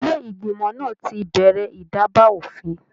Ilé ìgbìmọ̀ náà ti bẹrẹ ìdaba òfin.